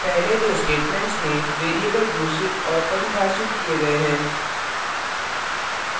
पहले दो statements variables घोषित और परिभाषित किए गए हैं